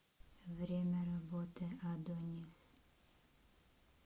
время работы адонис